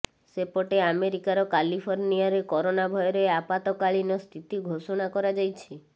ସେପଟେ ଆମେରିକାର କାଲିଫର୍ଣ୍ଣିଆରେ କୋରନା ଭୟରେ ଆପାତକାଳୀନ ସ୍ଥିତି ଘୋଷଣା କରାଯାଇଛି